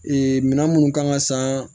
minɛn minnu kan ka san